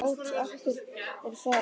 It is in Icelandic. Lát akker falla!